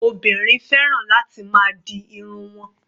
Obìnrin fẹ́ràn láti máa di irun wọn.